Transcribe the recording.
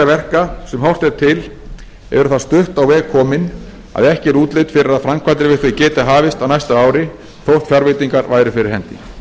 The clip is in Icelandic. verka sem horft er til eru það stutt á veg komin að ekki er útlit fyrir að framkvæmdir við þau geti hafist á næsta ári þótt fjárveitingar væru fyrir hendi